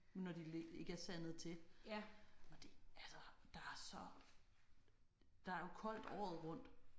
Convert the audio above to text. Når de ikke er sandet til og det altså der er så. Der er jo koldt året rundt